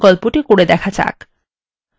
এই বিকল্পটি চেষ্টা করা যাক